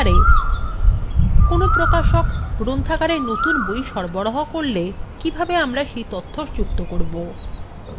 কোনো প্রকাশক গ্রন্থাগারে নতুন বই সরবরাহ করলে কিভাবে আমরা set তথ্য যুক্ত করব